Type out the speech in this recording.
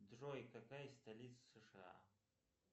джой какая столица сша